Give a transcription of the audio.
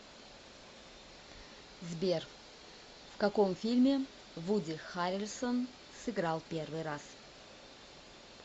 сбер в каком фильме вуди харрельсон сыграл первый раз